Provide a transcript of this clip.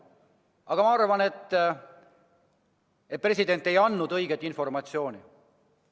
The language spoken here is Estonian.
Aga ma arvan, et president ei andnud tookord õiget informatsiooni.